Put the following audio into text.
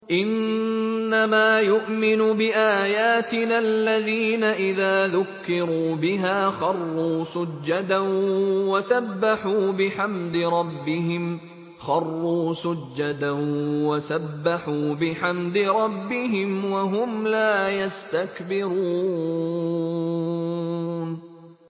إِنَّمَا يُؤْمِنُ بِآيَاتِنَا الَّذِينَ إِذَا ذُكِّرُوا بِهَا خَرُّوا سُجَّدًا وَسَبَّحُوا بِحَمْدِ رَبِّهِمْ وَهُمْ لَا يَسْتَكْبِرُونَ ۩